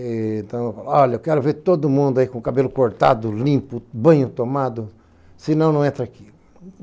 Eh então eu falei, olha, eu quero ver todo mundo aí com o cabelo cortado, limpo, banho tomado, senão não entra aqui.